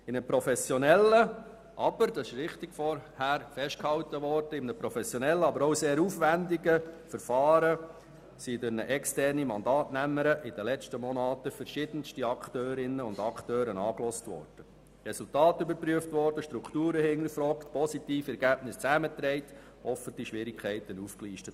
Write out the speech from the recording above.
In den letzten Monaten wurden durch eine externe Mandatsnehmerin in einem professionellen und sehr aufwendigen Verfahren verschiedenste Akteurinnen und Akteure angehört, Resultate überprüft, Strukturen hinterfragt, positive Ergebnisse zusammengetragen und Schwierigkeiten aufgelistet.